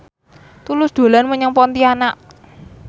Tulus dolan menyang Pontianak